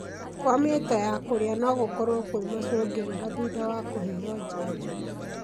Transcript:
Kwa mĩto ya kũrĩa nogũkorwo kwĩ macũngĩrĩra thutha wa kũheo janjo.